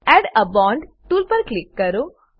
add a bond tool પર click કરો